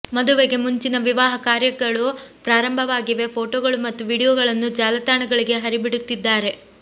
ಮದುವೆಗೆ ಮುಂಚಿನ ವಿವಾಹ ಕಾರ್ಯಗಳು ಪ್ರಾರಂಭವಾಗಿವೆ ಫೋಟೋಗಳು ಮತ್ತು ವೀಡಿಯೊಗಳನ್ನು ಜಾಲಾತಾಣಗಳಿಗೆ ಹರಿಬಿಡುತ್ತಿದ್ದಾರೆ